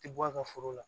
Ti bɔ a ka foro la